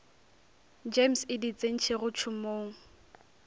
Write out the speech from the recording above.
gems e di tsentšego tšhomong